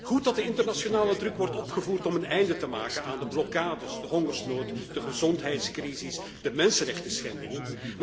Goed dat de internationale druk wordt opgevoerd om een einde te maken aan de blokkades, de hongersnood, de gezondheidscrises en de mensenrechtenschendingen.